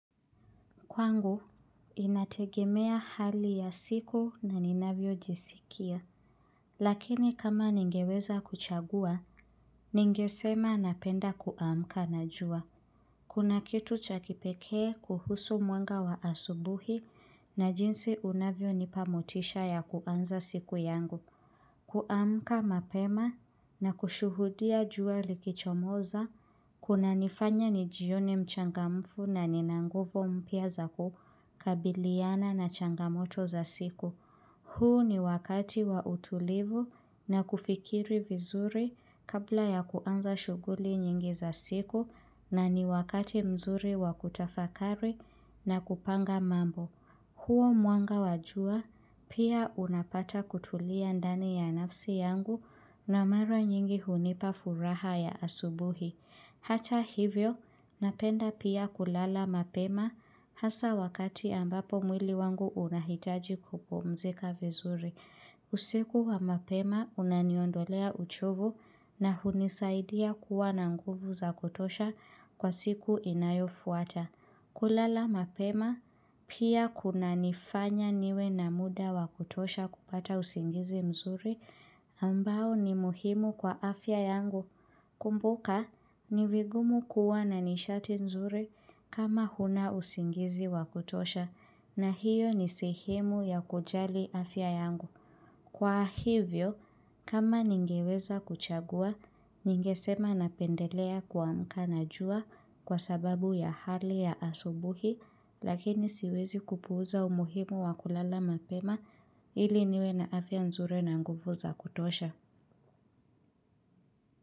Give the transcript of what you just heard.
Kwangu, inategemea hali ya siku na ninavyo jisikia. Lakini kama ningeweza kuchagua, ningesema napenda kuamka na jua. Kuna kitu cha kipekee kuhusu mwenga wa asubuhi na jinsi unavyo nipa motisha ya kuanza siku yangu. Kuamka mapema na kushuhudia jua likichomoza kuna nifanya nijione mchangamfu na ninanguvu mpya za ku kabiliana na changamoto za siku. Huu ni wakati wa utulivu na kufikiri vizuri kabla ya kuanza shuguli nyingi za siku na ni wakati mzuri wa kutafakari na kupanga mambo. Huo mwanga wa jua pia unapata kutulia ndani ya nafsi yangu na mara nyingi hunipa furaha ya asubuhi. Hata hivyo, napenda pia kulala mapema hasa wakati ambapo mwili wangu unahitaji kupumzika vizuri. Usiku wa mapema unaniondolea uchovu na hunisaidia kuwa na nguvu za kutosha kwa siku inayofuata. Kulala mapema pia kuna nifanya niwe na muda wa kutosha kupata usingizi mzuri ambao ni muhimu kwa afya yangu. Kumbuka ni vigumu kuwa na nishati mzuri kama huna usingizi wa kutosha na hiyo ni sehemu ya kujali afya yangu. Kwa hivyo, kama ningeweza kuchagua, ningesema napendelea kuamka na jua kwa sababu ya hali ya asubuhi, lakini siwezi kupuuza umuhimu wa kulala mapema ili niwe naafya nzuri na nguvu za kutosha.